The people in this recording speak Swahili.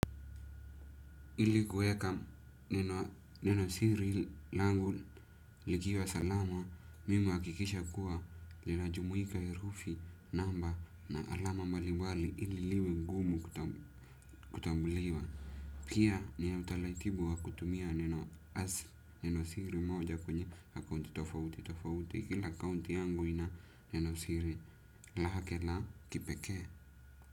Ili kweka neno siri langu likiwa salama, mimi uhakikisha kuwa ninajumuika erufi namba na alama mbalimbali ili liwe ngumu kutambuliwa. Kia ni ya utalaitibu wa kutumia neno as, neno siri moja kwenye hakaunti tofauti tofauti, kila kaunti yangu ina neno siri lahakela kipeke.